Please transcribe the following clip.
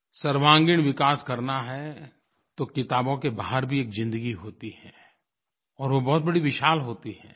सर्वांगीण विकास करना है तो किताबों के बाहर भी एक ज़िन्दगी होती है और वो बहुत बड़ी विशाल होती है